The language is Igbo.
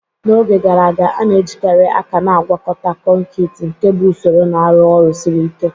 N'oge gara aga, a na-ejikarị aka na-agwakọta kọnkịtị, nke bụ usoro na-arụ ọrụ siri ike